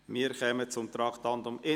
Wir kommen zum Traktandum 31: